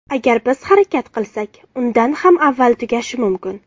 Agar biz harakat qilsak, undan ham avval tugashi mumkin.